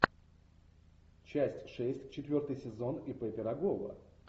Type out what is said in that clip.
часть шесть четвертый сезон ип пирогова